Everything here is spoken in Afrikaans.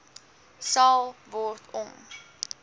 sal word om